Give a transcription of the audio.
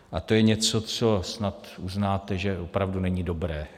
A to je něco, co snad uznáte, že opravdu není dobré.